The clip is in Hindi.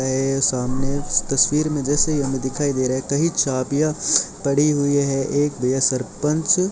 मेरे सामने इस तस्वीर में जैसे ही हमें दिखाई दे रहा है कहीं चाभियां पड़ी हुई है एक भैया सरपंच --